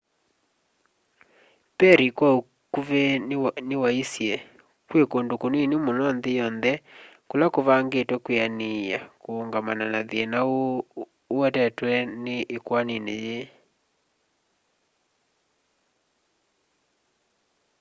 perry kwa ukuvi niwaisye kwi kundu kunini muno nthi yonthe kula kuvangitwe kwianiia kuungamana na thina uu uetetwe ikwanini ii